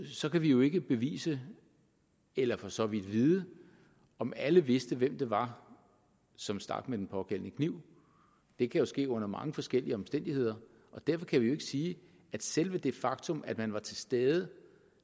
så kan vi jo ikke bevise eller for så vidt vide om alle vidste hvem det var som stak med den pågældende kniv det kan ske under mange forskellige omstændigheder og derfor kan vi jo ikke sige at selve det faktum at man var til stede